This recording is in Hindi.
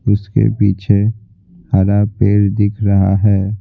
उसके पीछे हरा पेड़ दिख रहा है।